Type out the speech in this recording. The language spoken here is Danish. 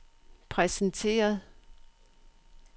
præsenteret